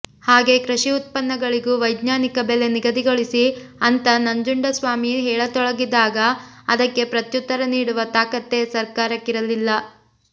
ಹಾಗೇ ಕೃಷಿ ಉತ್ಪನ್ನಗಳಿಗೂ ವೈಜ್ಞಾನಿಕ ಬೆಲೆ ನಿಗದಿಗೊಳಿಸಿ ಅಂತ ನಂಜುಂಡಸ್ವಾಮಿ ಹೇಳತೊಡಗಿದಾಗ ಅದಕ್ಕೆ ಪ್ರತ್ಯುತ್ತರ ನೀಡುವ ತಾಕತ್ತೇ ಸರ್ಕಾರಕ್ಕಿರಲಿಲ್ಲ